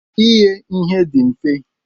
Ighe ihe dị mfe.